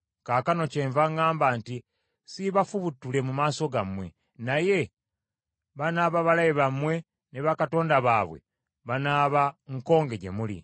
Kaakano kyenva ŋŋamba nti, ‘Siibafubutule mu maaso gammwe, naye banaaba balabe bammwe ne bakatonda baabwe banaaba nkonge gye muli.’ ”